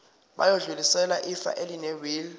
bayodlulisela ifa elinewili